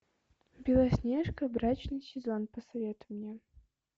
белоснежка брачный сезон посоветуй мне